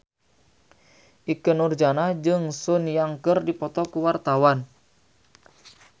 Ikke Nurjanah jeung Sun Yang keur dipoto ku wartawan